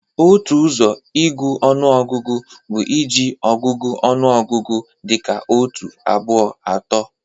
Otu ọzọ ịgụ ọnụọgụgụ bụ iji ọgụgụ ọnụ ọgụgụ dị ka otu, abụọ, atọ